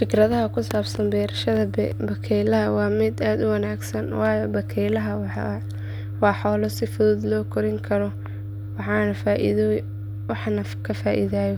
Fikradaydu ku saabsan beerashada bakaylaha waa mid aad u wanaagsan waayo bakaylaha waa xoolo si fudud loo kori karo waxna ka faa’iidayo.